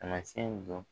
Taamasiyɛn dɔn